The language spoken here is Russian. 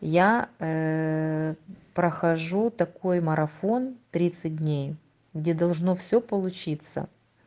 я прохожу такой марафон тридцать дней где должно всё получиться